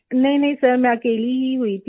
प्रीति नहींनहीं सर मैं अकेली ही हुई थी